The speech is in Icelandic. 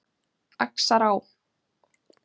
Axará